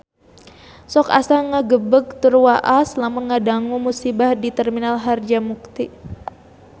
Sok asa ngagebeg tur waas lamun ngadangu musibah di Terminal Harjamukti